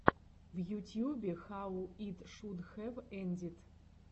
в ютьюбе хау ит шуд хэв эндид